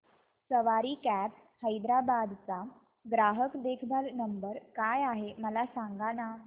सवारी cabs Hyderabad चा ग्राहक देखभाल नंबर काय आहे मला सांगाना